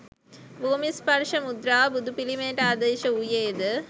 භූමි ස්පර්ශ මුද්‍රාව බුදු පිළිමයට ආදේශ වූයේද